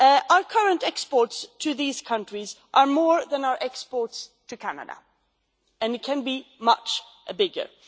Our current exports to these countries are more than our exports to Canada, and they can be much bigger.